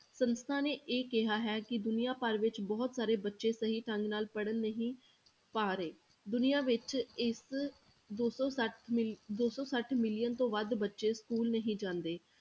ਸੰਸਥਾ ਨੇ ਇਹ ਕਿਹਾ ਹੈ ਕਿ ਦੁਨੀਆਂ ਭਰ ਵਿੱਚ ਬਹੁਤ ਸਾਰੇ ਬੱਚੇ ਸਹੀ ਢੰਗ ਨਾਲ ਪੜ੍ਹ ਨਹੀਂ ਪਾ ਰਹੇ, ਦੁਨੀਆਂ ਵਿੱਚ ਇਸ ਦੋ ਸੌ ਸੱਠ ਮਿਲੀ~ ਦੋ ਸੌ ਸੱਠ ਮਿਲੀਅਨ ਤੋਂ ਵੱਧ ਬੱਚੇ school ਨਹੀਂ ਜਾਂਦੇ।